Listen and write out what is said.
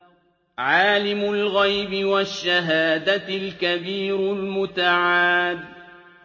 عَالِمُ الْغَيْبِ وَالشَّهَادَةِ الْكَبِيرُ الْمُتَعَالِ